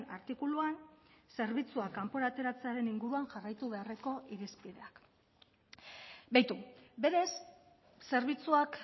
artikuluan zerbitzuak kanpora ateratzearen inguruan jarraitu beharreko irizpideak beitu berez zerbitzuak